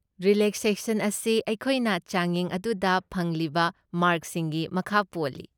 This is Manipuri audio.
ꯔꯤꯂꯦꯛꯁꯦꯁꯟ ꯑꯁꯤ ꯃꯈꯣꯏꯅ ꯆꯥꯡꯌꯦꯡ ꯑꯗꯨꯗ ꯐꯪꯂꯤꯕ ꯃꯥꯔꯛꯁꯤꯡꯒꯤ ꯃꯈꯥ ꯄꯣꯜꯂꯤ꯫